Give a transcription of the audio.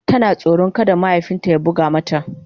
Tana tsoron kada mahaifin ta ya buga mata.